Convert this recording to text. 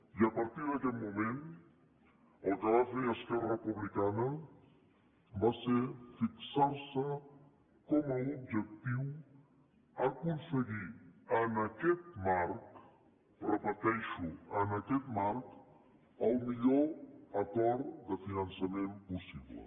i a partir d’aquest moment el que va fer esquerra republicana va ser fixar se com a objectiu aconseguir en aquest marc ho repeteixo en aquest marc el millor acord de finançament possible